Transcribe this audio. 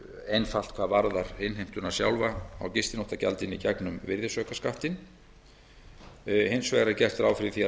einfalt hvað varðar innheimtuna sjálfa á gistináttagjaldinu í gegnum virðisaukaskattinn hins vegar er gert ráð fyrir því að